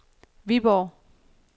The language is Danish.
Viborg